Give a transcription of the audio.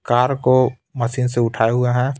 Car को machine से उठाए हुए हैं.